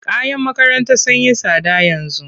Kayan makaranta sun yi tsada yanzu.